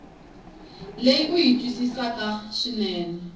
leyi u yi twisisaka swinene